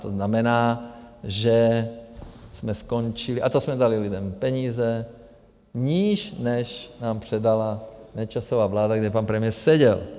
To znamená, že jsme skončili - a to jsme dali lidem peníze - níž, než nám předala Nečasova vláda, kde pan premiér seděl.